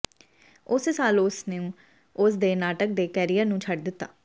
ਉਸੇ ਸਾਲ ਉਸ ਨੂੰ ਉਸ ਦੇ ਨਾਟਕ ਦੇ ਕੈਰੀਅਰ ਨੂੰ ਛੱਡ ਦਿੱਤਾ